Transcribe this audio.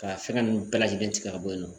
Ka fɛngɛ ninnu bɛɛ lajɛlen tigɛ ka bɔ yen nɔ